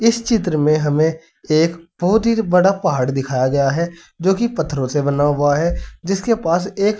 इस चित्र मे हमें एक बहुत ही बड़ा पहाड़ दिखाया गया है जो कि पत्थरों से बना हुआ है जिसके पास एक--